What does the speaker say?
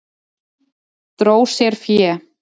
Dró sér fé